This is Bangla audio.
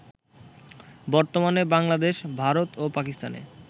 বর্তমানে বাংলাদেশ, ভারত ও পাকিস্তানে